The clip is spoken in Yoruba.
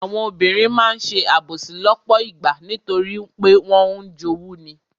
Àwọn obìnrin máa ń ṣe àbòsí lọ́pọ̀ ìgbà nítorí pé wọ́n ń jowú ni.